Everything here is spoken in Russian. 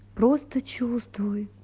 просто чувствуй